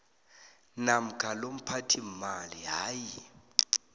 namkha lomphathiimali hayi